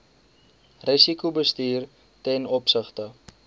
risikobestuur ten opsigte